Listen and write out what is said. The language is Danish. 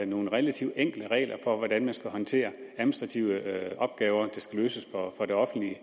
nogle relativt enkle regler for hvordan man skal håndtere administrative opgaver der skal løses for det offentlige